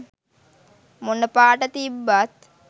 මොන පාට තිබ්බත්